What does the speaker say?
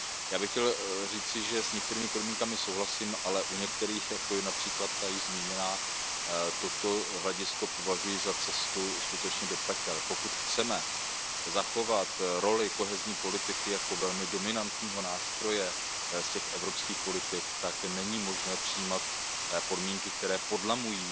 Já bych chtěl říci, že s některými podmínkami souhlasím, ale u některých, jako je například ta již zmíněná, toto hledisko považuji za cestu skutečně do pekel. Pokud chceme zachovat roli kohezní politiky jako velmi dominantního nástroje z těch evropských politik, tak není možné přijímat podmínky, které podmiňují